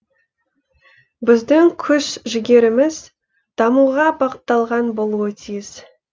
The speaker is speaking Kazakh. біздің күш жігеріміз дамуға бағытталған болуы тиіс